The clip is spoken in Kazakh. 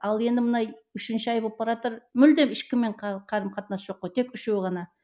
ал енді мына үшінші ай болып баратыр мүлдем ешкіммен қарым қатынас жоқ қой тек үшеу ғана